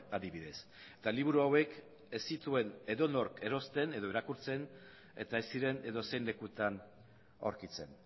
adibidez eta liburu hauek ez zituen edonork erosten edo irakurtzen eta ez ziren edozein lekutan aurkitzen